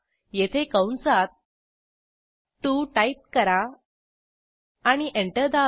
येथे कंसात 2 टाईप करा आणि एंटर दाबा